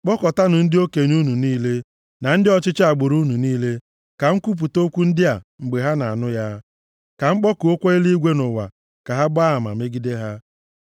Kpọkọtaanụ ndị okenye unu niile, na ndị ọchịchị agbụrụ unu niile, ka m kwupụta okwu ndị a mgbe ha na-anụ ya. Ka m kpọkuokwa eluigwe na ụwa ka ha gbaa ama megide ha.